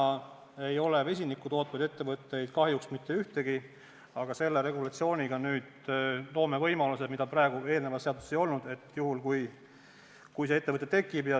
Praegu ei ole vesinikku tootvaid ettevõtteid kahjuks mitte ühtegi, aga selle regulatsiooniga me loome võimaluse, mida praegu kehtivas seaduses ei olnud, juhuks, kui selline ettevõte tekib.